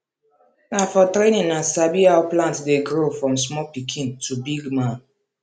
na for training i sabi how plant dey grow from small pikin to big man